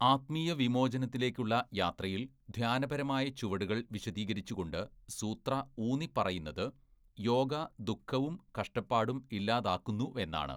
ആത്മീയ വിമോചനത്തിലേക്കുള്ള യാത്രയിൽ ധ്യാനപരമായ ചുവടുകൾ വിശദീകരിച്ചുകൊണ്ട് സൂത്ര ഊന്നിപ്പറയുന്നത് യോഗ ദുഃഖവും കഷ്ടപ്പാടും ഇല്ലാതാക്കുന്നുവെന്നാണ്.